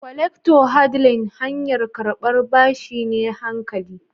"collectors handle"hanyar karban bashi ne hankali